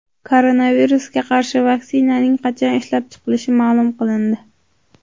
Koronavirusga qarshi vaksinaning qachon ishlab chiqilishi ma’lum qilindi.